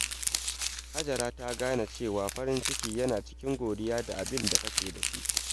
Hajara ta gane cewa farin ciki yana cikin godiya da abin da kake da shi.